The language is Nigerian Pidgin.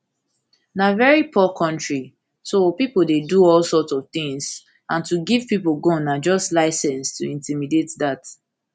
na veri poor kontri so pipo dey do all sorts of tins and to give pipo gun na just license to intimidate dat